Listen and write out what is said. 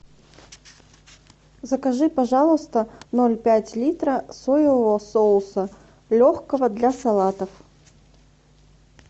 закажи пожалуйста ноль пять литра соевого соуса легкого для салатов